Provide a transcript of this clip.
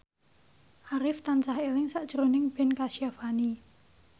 Arif tansah eling sakjroning Ben Kasyafani